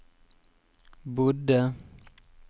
bodde